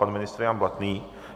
Pan ministr Jan Blatný.